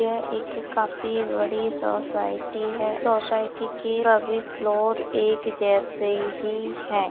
यह एक काफी बड़ी सोसायटी है सोसायटी के सभी फ्लोर एक जैसे ही हैं।